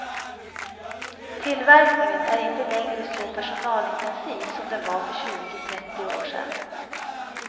Tillverkningen är inte längre så personalintensiv som den var för tjugo, trettio år sedan.